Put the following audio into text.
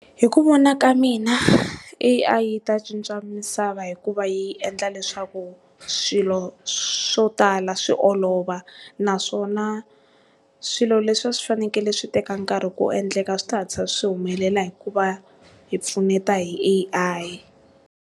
Hi ku vona ka mina A_I yi ta cinca misava hikuva yi endla leswaku swilo swo tala swi olova naswona swilo leswi a swi fanekele swi teka nkarhi ku endleka swi ta hatlisa swi humelela hikuva hi pfuneta hi A_I.